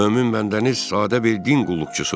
Mömin bəndəniz sadə bir din qulluqçusudur.